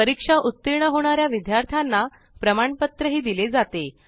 परीक्षेत उत्तीर्ण होणाऱ्या विद्यार्थ्यांना प्रमाणपत्र दिले जाते